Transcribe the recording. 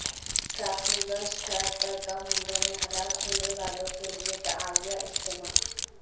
Trafalgar Square پر بم حملوں میں ہلاک ہونے والوں کے لیے دعائیہ اجتماع